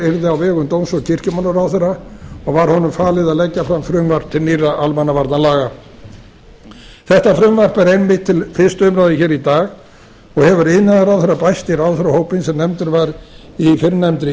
yrði á vegum dóms og kirkjumálaráðherra og var honum falið að leggja fram frumvarp til nýrra almannavarnalaga þetta frumvarp er einmitt til fyrstu umræðu hér í dag og hefur iðnaðarráðherra bæst í ráðherrahópinn sem nefndur var í fyrrnefndri